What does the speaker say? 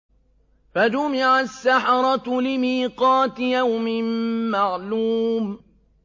فَجُمِعَ السَّحَرَةُ لِمِيقَاتِ يَوْمٍ مَّعْلُومٍ